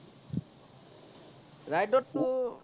ride ত তো